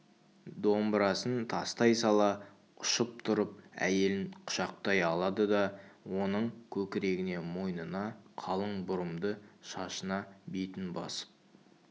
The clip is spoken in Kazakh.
домбырасын тастай сала ұшып тұрып әйелін құшақтай алады да оның көкірегіне мойнына қалың бұрымды шашына бетін басып